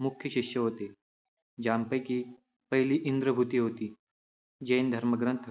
मुख्य शिष्य होते. ज्यापैकी पहिली इंद्रभूती होती. जैन धर्मग्रंथ,